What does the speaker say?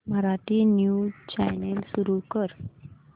Marathi news channel सुरू कर